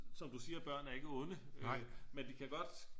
Som du siger børn er ikke onde men de kan godt